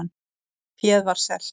Féð var selt